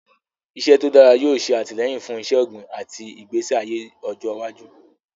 Ilẹ̀ tó dára yóò ṣe àtìlẹ́yìn fún iṣẹ́ ọ̀gbìn àti ìgbésí ayé ọjọ́ iwájú.